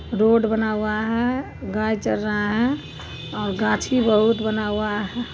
road बना हुआ है गाय चर रहा है और गाछी बहुत बना हुआ--